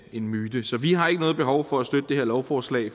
en myte så vi har ikke noget behov for at støtte det her lovforslag